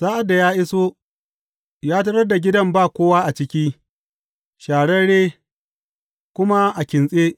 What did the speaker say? Sa’ad da ya iso, ya tarar da gidan ba kowa a ciki, shararre, kuma a kintse.